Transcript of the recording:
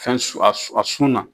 Fɛn su a su a sun na.